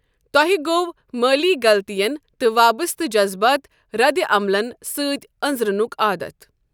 تۄہہ گوٚوٕ مٲلی غلطین تہٕ وابسطہٕ جذبٲتۍ ردِعملن سۭتۍ انزرٕنک عادتھ۔